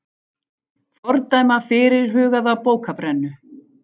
Fordæma fyrirhugaða bókabrennu